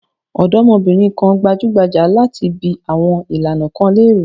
Ọ̀dọ́bìnrin kan gbójúgbóyà láti bi àwọn ìlànà kan léèrè.